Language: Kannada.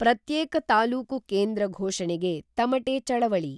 ಪ್ರತ್ಯೇಕ ತಾಲೂಕು ಕೇಂದ್ರ ಘೊಷಣೆಗೆ ತಮಟೆ ಚಳವಳಿ.